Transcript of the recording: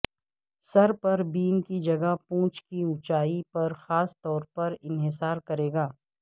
سر پر بیم کی جگہ پونچھ کی اونچائی پر خاص طور پر انحصار کرے گا